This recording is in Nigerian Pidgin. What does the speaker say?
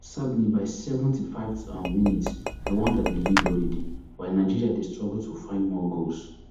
sadly by di seventy-fiveth um minute rwanda dey lead already while nigeria dey struggle to find more goals